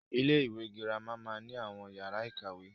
Ilé-ìwé girama máa ni àwọn yàrá ìkàwé.